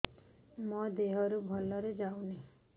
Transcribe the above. ମୋ ଦିହରୁ ଭଲରେ ଯାଉନି